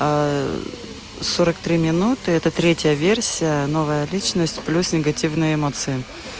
сорок три минуты это третья версия новая личность плюс негативные эмоции